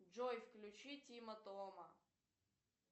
джой включи тима тома